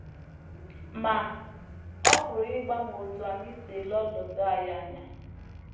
Ma, ọ pụrụ ịgbanwe otú anyị si ele ọnọdụ anyị anya.